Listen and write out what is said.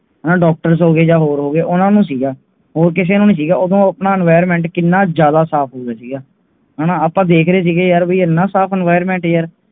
Doctor ਹੋਗੇ ਇਹ ਹੋਰ ਹੋਗੇ ਉਹਨਾਂ ਨੂੰ ਸੀਗਾ ਹੋਰ ਕਿਸੇ ਨਹੀਂ ਵੀ ਨਹੀਂ ਸੀਗਾ Enviroment ਕਿਹਨਾਂ ਜਾਂਦਾ ਸਾਫ ਸੀਗਾ ਹਨ ਇਹਨਾਂ ਸਾਫ Enviroment ਯਾਰ